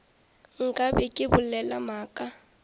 nka be ke bolela maaka